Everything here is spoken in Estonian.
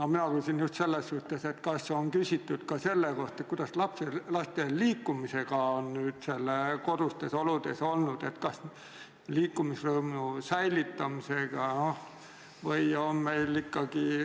Aga mina küsin hoopis selle kohta, kas on uuritud ka seda, kuidas on lastel kodustes oludes olnud lood liikumisega, liikumisrõõmu säilitamisega.